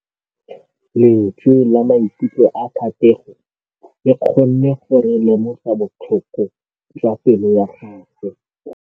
Lentswe la maikutlo a Thategô le kgonne gore re lemosa botlhoko jwa pelô ya gagwe.